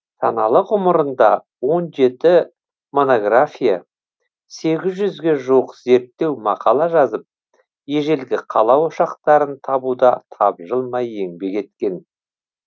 саналы ғұмырында он жеті монография сегіз жүзге жуық зерттеу мақала жазып ежелгі қала ошақтарын табуда тапжылмай еңбек еткен